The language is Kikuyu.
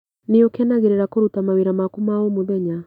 Nĩũkenagĩrĩra kũruta mawĩra maku ma o mũthenya?